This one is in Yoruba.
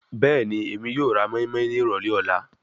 Bẹẹni, Emi yoo ra moinmoin ni irọlẹ ọla